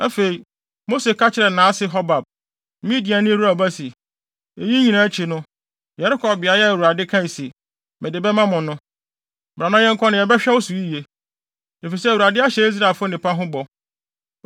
Afei, Mose ka kyerɛɛ nʼase Hobab, Midiani Reuel ba se, “Eyi nyinaa akyi no, yɛrekɔ beae a Awurade kae se, ‘Mede bɛma mo no.’ Bra na yɛnkɔ na yɛbɛhwɛ wo so yiye; efisɛ Awurade ahyɛ Israelfo nnepa ho bɔ.”